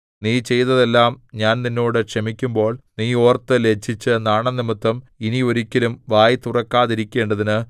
നീ ചെയ്തതെല്ലാം ഞാൻ നിന്നോട് ക്ഷമിക്കുമ്പോൾ നീ ഓർത്ത് ലജ്ജിച്ച് നാണം നിമിത്തം ഇനി ഒരിക്കലും വായ് തുറക്കാതിരിക്കേണ്ടതിന്